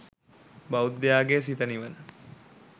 බෞද්ධයාගේ සිත නිවන